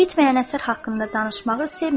Bitməyən əsər haqqında danışmağı sevmirəm.